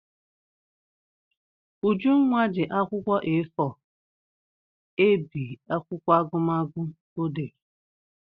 Ujunwa ji akwụkwọ A4 ebi akwụkwọ agụmagụ ọ dere.